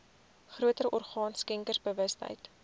groter orgaan skenkersbewustheid